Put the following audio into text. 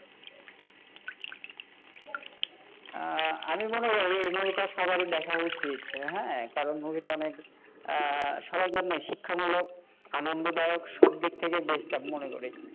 আমি মনে করি এই মুভিটা সবাইর দেখো উচিত হ্যাঁ কারণ মুভিটা সবায়ের জন্য শিক্ষামূলক, আনন্দ দায়ক সবদিক থেকে best আমি মনে করি,